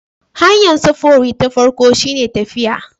Hanyar sufuri ta farko shine tafiya